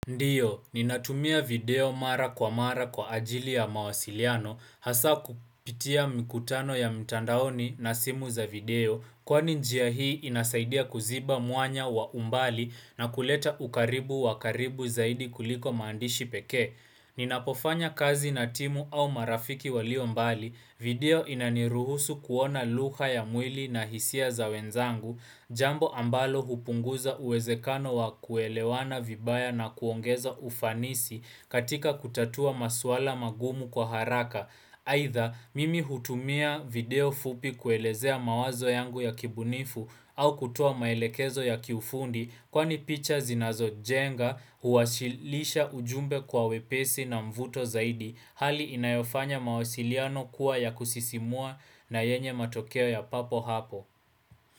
Ndiyo, ninatumia video mara kwa mara kwa ajili ya mawasiliano, hasa kupitia mikutano ya mtandaoni na simu za video, kwani njia hii inasaidia kuziba mwanya wa umbali na kuleta ukaribu wa karibu zaidi kuliko maandishi pekee. Ninapofanya kazi na timu au marafiki walio mbali, video inaniruhusu kuona lugha ya mwili na hisia za wenzangu, Jambo ambalo hupunguza uwezekano wa kuelewana vibaya na kuongeza ufanisi katika kutatua maswala magumu kwa haraka. Aidha mimi hutumia video fupi kuelezea mawazo yangu ya kibunifu au kutoa maelekezo ya kiufundi Kwani picha zinazo jenga huwashilisha ujumbe kwa wepesi na mvuto zaidi. Hali inayofanya mawasiliano kuwa ya kusisimua na yenye matokeo ya papo hapo.